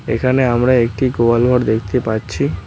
এখানে আমরা একটি গোয়াল ঘর দেখতে পাচ্ছি।